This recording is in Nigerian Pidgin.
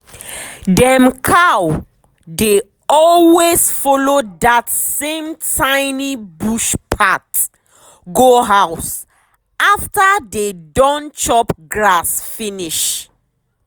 dem cow dey always follow that same tiny bush path go house after dey don chop grass finish.